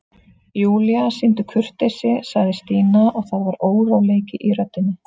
Júlía, sýndu kurteisi sagði Stína og það var óróleiki í röddinni.